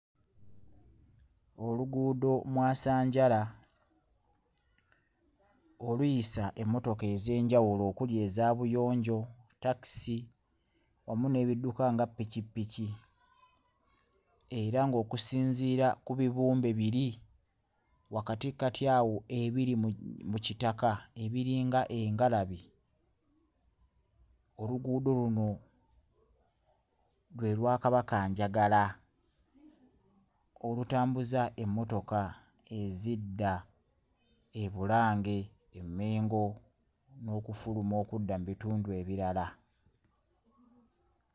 Oluguudo mwasanjala oluyisa emmotoka ez'enjawulo okuli eza buyonjo, takisi wamu n'ebidduka nga ppikipiki era ng'okusinziira ku bibumbe biri wakatikkati awo ebiri mu mu kitaka ebiringa engalabi, oluguudo luno lwe lwa Kabakanjagala olutambuza emmotoka ezidda e Bulange e Mmengo n'okufuluma okudda mu bitundu ebirala.